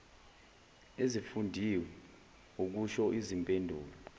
ezifundiwe ukusho izimpendulo